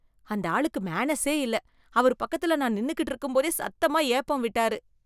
அந்த ஆளுக்கு மேனர்ஸே இல்லை. அவரு பக்கத்துல நான் நின்னுக்கிட்டு இருக்கும்போதே சத்தமா ஏப்பம் விட்டாரு.